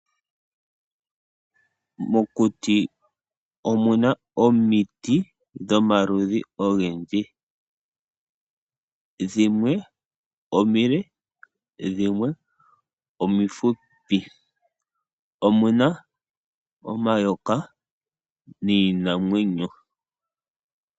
Mokuti omuna omiti dhomaludhi ogendji. Dhimwe omile dhimwe omifupi. Omuna omayoka miinanwenyo.